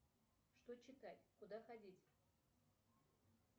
что читать куда ходить